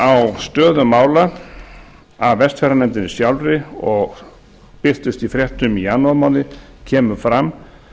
á stöðu mála af vestfjarðanefndinni sjálfri og birtust í fréttum í janúarmánuði kemur fram